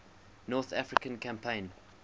north african campaign